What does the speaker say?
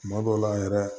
Tuma dɔw la yɛrɛ